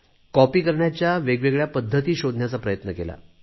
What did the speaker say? copy करण्याच्या वेगवेगळ्या पद्धती शोधण्याचा प्रयत्न केला